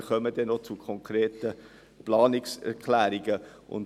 Wir kommen noch zu den konkreten Planungserklärungen.